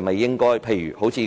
正如